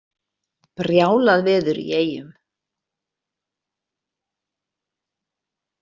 Brjálað veður í Eyjum